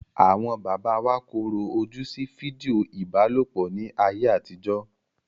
Àwọn bàbá wa korò ojú sí fídíò ìbálòpọ̀ ní ayé àtijó.